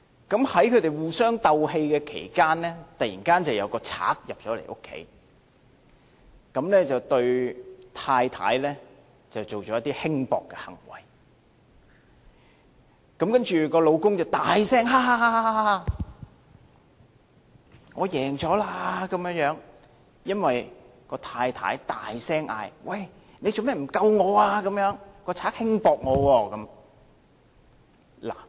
在他們互雙鬥氣期間，突然有一個賊入屋，這個賊對太太做了一些輕薄行為，然後丈夫便大聲："哈哈哈，我勝了"，因為這太太大聲說："你為甚麼不救我？